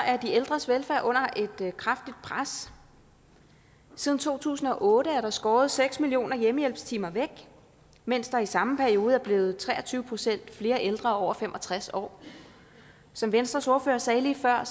er de ældres velfærd under et kraftigt pres siden to tusind og otte er der skåret seks millioner hjemmehjælpstimer væk mens der i samme periode er blevet tre og tyve procent flere ældre over fem og tres år som venstres ordfører sagde lige før er